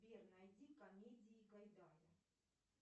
сбер найди комедии гайдая